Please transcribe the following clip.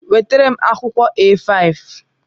Wetara m akwụkwọ A5!